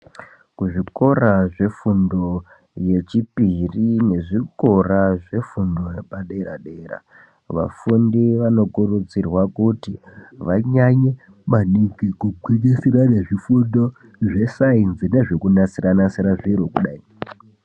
Kuzvikora zvefundo yechipiri nezvikora zvefundo yepadera-dera, vafundi vanokurudzira kuti vanyanye maningi kugwinyisira nezvifundo zvesainzi nezvekunasira-nasira zviro kudai.